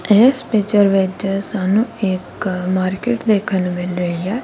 ਇਸ ਪਿਚਰ ਵਿੱਚ ਸਾਨੂੰ ਇੱਕ ਮਾਰਕੀਟ ਦੇਖਣ ਨੂੰ ਮਿਲ ਰਹੀ ਹੈ।